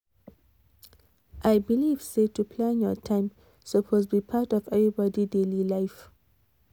i believe say to plan your time suppose be part of everybody daily life